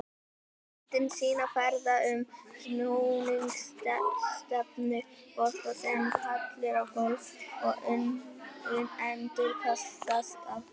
Myndin sýnir ferða- og snúningsstefnu bolta sem fellur á gólf og endurkastast af því.